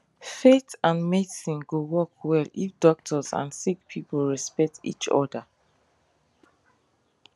faith and medicine go work well if doctors and sick people respect each other